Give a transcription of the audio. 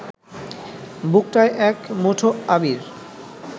বুকটায় এক মুঠো আবির